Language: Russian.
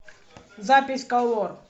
запись колор